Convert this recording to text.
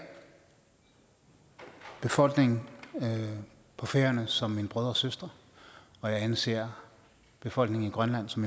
befolkningen på færøerne som mine brødre og søstre og jeg anser befolkningen i grønland som